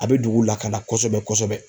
A bɛ dugu lakanda kosɛbɛ-kosɛbɛ.